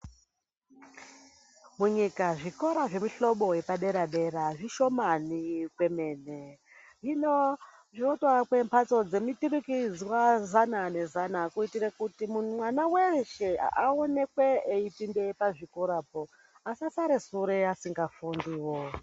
Munyika zvikora zvemuhlobo yepadera dera zvishomani kwemene hino zvotoake mphatso dzemuturikidzwa zana nezana kuitira kuti mwana weshe aonekwe eipinde pazvikorapo asasare sure asingafundiwo.